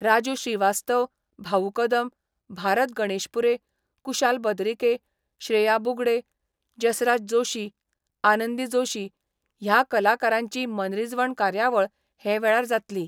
राजु श्रीवास्तव, भाउ कदम, भारत गणेशपुरे, कुशाल बद्रिके, श्रेया बुगडे, जसराज जोशी, आनंदी जोशी ह्या कलाकारांची मनरिजवण कार्यावळ हे वेळार जातली.